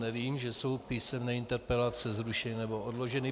Nevím, že jsou písemné interpelace zrušeny nebo odloženy.